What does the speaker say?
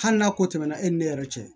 Hali n'a ko tɛmɛna e ni ne yɛrɛ cɛ